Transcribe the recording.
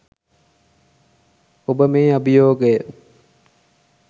ඔබ මේ අභියෝගය